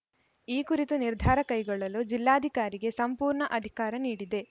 ಈ ಕುರಿತು ನಿರ್ಧಾರ ಕೈಗೊಳ್ಳಲು ಜಿಲ್ಲಾಧಿಕಾರಿಗೆ ಸಂಪೂರ್ಣ ಅಧಿಕಾರ ನೀಡಿದೆ